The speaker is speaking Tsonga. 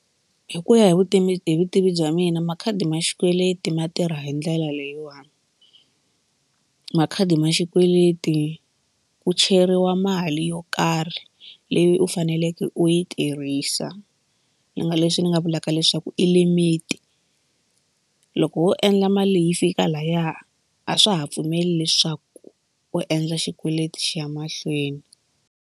Hi ku ya hi vutivi hi vutivi bya mina makhadi ma xikweleti ma tirha hi ndlela leyiwani makhadi ma xikweleti ku cheriwa mali yo karhi leyi u faneleke u yi tirhisa ni nga leswi ni nga vulaka leswaku i limit loko wo endla mali leyi yi fika lahaya a swa ha pfumeli leswaku u endla xikweleti xi ya mahlweni.